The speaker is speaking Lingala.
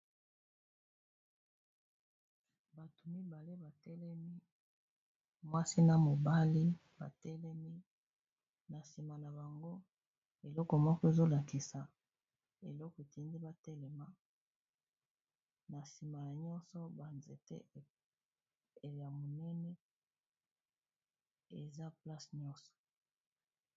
Bato mibale batelemi mwasi na mobali batelemi na nsima na bango, eloko moko ezolakisa eloko etindi batelema na nsima nyonso banzete ya monene eza place nyonso.